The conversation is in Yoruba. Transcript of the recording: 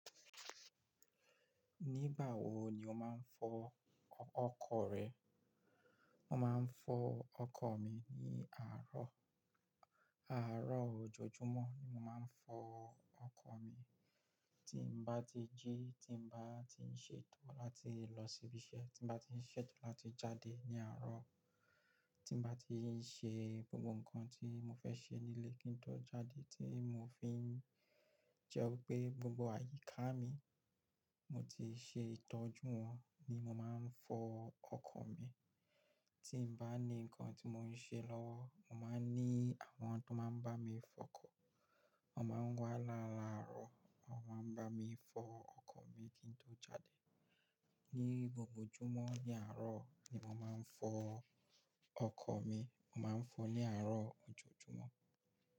Nígbà wo ni o máa ń fọ ọkọ̀ rẹ? Mo máa ń fọ ọkọ̀ mi ní àárọ̀, àárọ̀ ojoojúmọ́ ni mo máa ń fọ ọkọ̀ mi. Tí n bá ti jí, tí n bá ti ń ṣe tán láti lọ síbi iṣẹ́, tí n bá ti ń ṣe tán láti jáde ní àárọ̀, tí n bá ti ń ṣe gbogbo nǹkan tí mo fẹ́ ṣe nílé kí n tó jáde tí mo fi ń jẹ́ wípé gbogbo àyíká mi mo ti ṣe ìtọ́jú wọn, ní mo máa ń fọ ọkọ̀ mi. Tí n bá ní nǹkan tí mò ń ṣe lọ́wọ́, mo máa ń ní àwọn tó máa ń bá mi fọ ọkọ̀. Wọ́n máa ń wá lálàárọ̀, wọ́n máa ń bá mi fọ ọkọ̀ mi kí n tó jáde. Ni gbogbo ojúmọ́ ní àárọ̀ ni mo máa ń fọ ọkọ̀ mi. Mo máa ń fọ ní àárọ̀ ojoojúmọ́